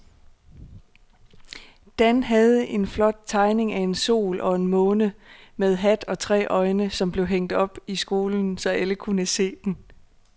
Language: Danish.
Dan havde lavet en flot tegning af en sol og en måne med hat og tre øjne, som blev hængt op i skolen, så alle kunne se den.